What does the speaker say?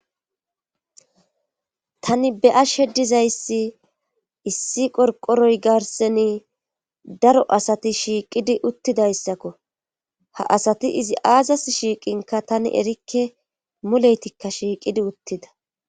Tani be7ashe dizayssi issi qorqqoroy garssani daro asati shiiqidi uttidayssako ha asati izi aazas shiiqinkka erikke muleytikka shiiqidi uttida.